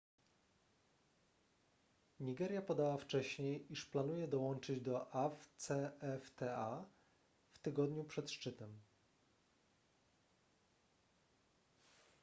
nigeria podała wcześniej iż planuje dołączyć do afcfta w tygodniu przed szczytem